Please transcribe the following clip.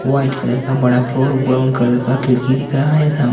white colour का बड़ा floor brown colour का खिड़की दिख रहा है साम --